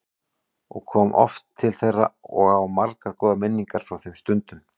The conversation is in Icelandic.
Ég kom oft til þeirra og á margar góðar minningar frá þeim stundum.